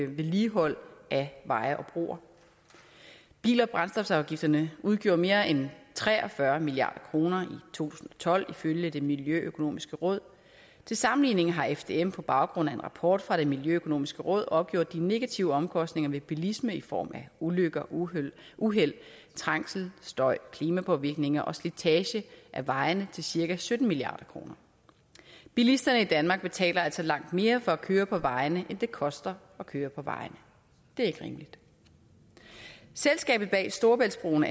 vedligehold af veje og broer bil og brændstofafgifterne udgjorde mere end tre og fyrre milliard kroner i tusind og tolv ifølge det miljøøkonomiske råd til sammenligning heraf har fdm på baggrund af en rapport fra det miljøøkonomiske råd opgjort de negative omkostninger ved bilisme i form af ulykker uheld uheld trængsel støj klimapåvirkninger og slitage af vejene til cirka sytten milliard kroner bilisterne i danmark betaler altså langt mere for at køre på vejene end det koster at køre på vejene det er ikke rimeligt selskabet bag storebæltsbroen